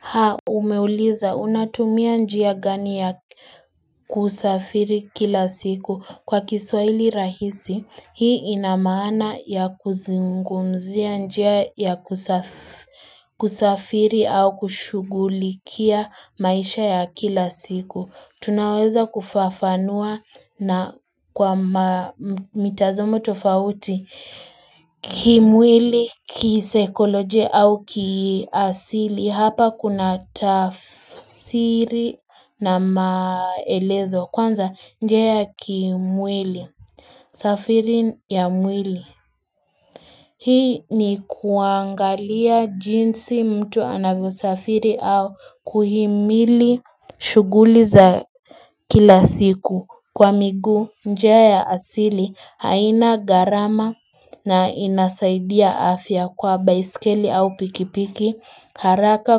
Haa umeuliza unatumia njia gani ya kusafiri kila siku kwa kiswahili rahisi hii inamaana ya kuzungumzia njia ya kusafiri au kushugulikia maisha ya kila siku Tunaweza kufafanua na kwa mitazamo tofauti kimwili, kisaikolojia au kiasili Hapa kuna tafsiri na maelezo Kwanza njia ya kimwili safiri ya mwili Hii ni kuangalia jinsi mtu anavyosafiri au kuhimili shughuli za kila siku kwa miguu njia ya asili haina gharama na inasaidia afya kwa baiskeli au pikipiki haraka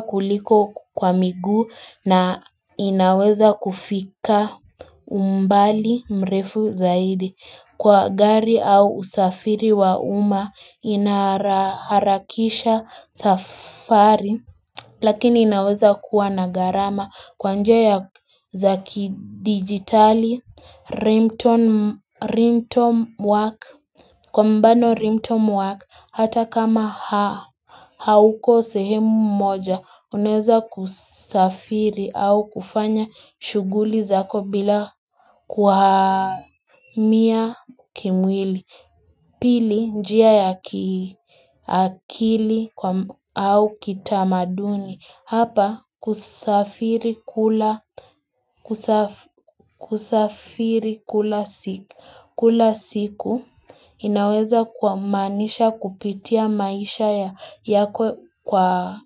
kuliko kwa miguu na inaweza kufika umbali mrefu zaidi Kwa gari au usafiri wa umma inaharakisha safari Lakini inaweza kuwa na gharama kwa njia za kidigitali, rimtone work, kwa mfano rimtone work, hata kama, hauko sehemu moja, unaeza kusafiri au kufanya shughuli zako bila kuhamia kimwili. Pili njia ya kiakili au kitamaduni hapa kusafiri kula siku inaweza kuamanisha kupitia maisha yako kwa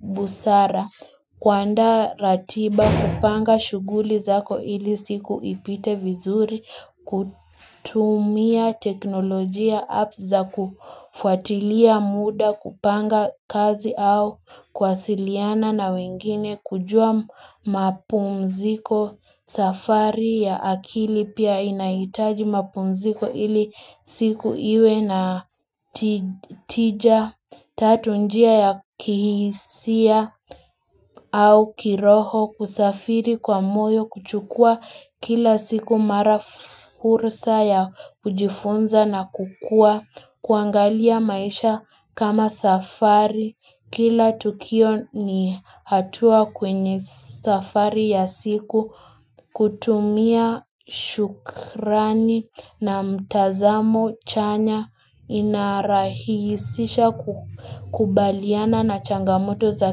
busara. Kuanda ratiba kupanga shughuli zako ili siku ipite vizuri kutumia teknolojia apps za kufuatilia muda kupanga kazi au kuwasiliana na wengine kujua mapumziko safari ya akili pia inaitaji mapumziko ili siku iwe na tija Tatu njia ya kihisia au kiroho kusafiri kwa moyo kuchukua kila siku mara fursa ya kujifunza na kukuwa kuangalia maisha kama safari. Kila tukio ni hatua kwenye safari ya siku kutumia shukrani na mtazamo chanya inarahisisha kukubaliana na changamoto za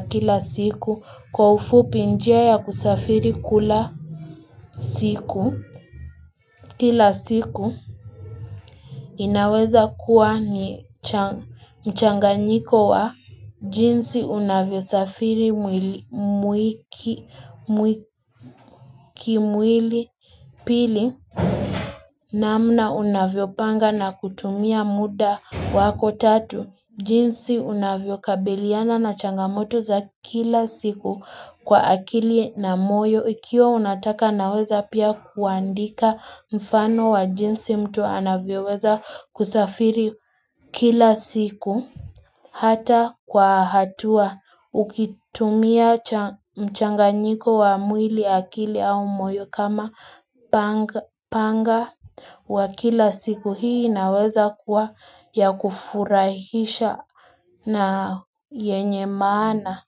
kila siku kwa ufupi njia ya kusafiri kila siku. Kila siku inaweza kuwa ni mchanganyiko wa jinsi unavyosafiri kimwili pili namna unavyopanga na kutumia muda wako tatu. Jinsi unavyokabiliana na changamoto za kila siku kwa akili na moyo, ikiwa unataka naweza pia kuandika mfano wa jinsi mtu anavyoweza kusafiri kila siku. Hata kwa hatua ukitumia mchanganyiko wa mwili akili au moyo kama panga wa kila siku hii inaweza kuwa ya kufurahisha na yenye maana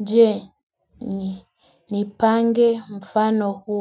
je ni pange mfano huo.